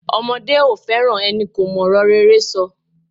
Omodé ò fẹ́ràn enikò mòrò rere so